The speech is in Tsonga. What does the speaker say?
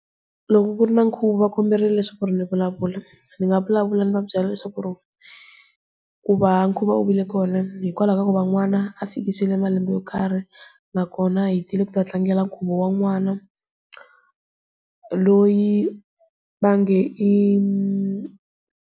Loko ku ri na nkhuvo va komberile leswaku ri ndzi vulavula ndzi nga vulavula ndzi va byela leswaku ri ku va nkhuvo u vile kona hikwalaho ka ku va n'wana a fikile eka malembe yo karhi, na kona hi tile ku ta tlangela nkhuvo wa n'wana loyi va nge .